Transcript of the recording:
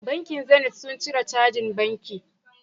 Bankin zenit sun cire cajin banki